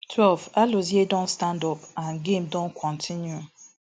twelve alozie don stand up and game Accepted kontinu